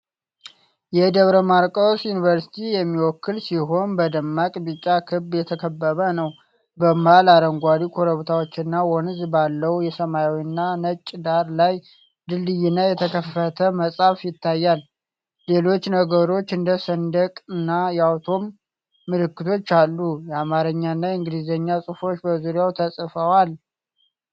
የደብረ ማርቆስ ዩኒቨርሲቲን የሚወክል ሲሆን፣ በደማቅ ቢጫ ክብ የተከበበ ነው። በመሃል አረንጓዴ ኮረብታዎችና ወንዝ ባለው ሰማያዊና ነጭ ዳራ ላይ ድልድይና የተከፈተ መጽሐፍ ይታያል። ሌሎች ነገሮች እንደ ስንዴና የአቶም ምልክቶችም አሉ። የአማርኛና የእንግሊዝኛ ጽሑፎች በዙሪያው ተጽፈዋል።